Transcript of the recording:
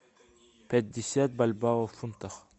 пятьдесят бальбоа в фунтах